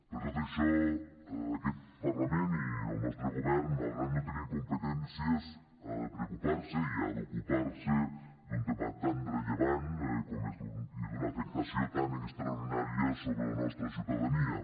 per tot això aquest parlament i el nostre govern malgrat no tenir competències ha de preocupar se i ha d’ocupar se d’un tema tan rellevant i d’una afectació tan extraordinària sobre la nostra ciutadania